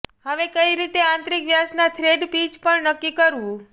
હવે કઈ રીતે આંતરિક વ્યાસના થ્રેડ પીચ પણ નક્કી કરવું